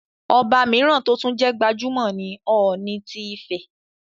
Ọba mìíràn tó tún jẹ́ gbajúmọ̀ ni Ọọ̀ni ti Ifẹ̀,